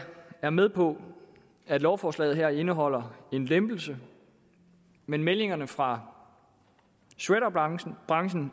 er med på at lovforslaget her indeholder en lempelse men meldingerne fra shredderbranchen